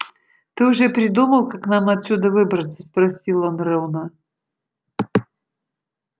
ты уже придумал как нам отсюда выбраться спросил он рона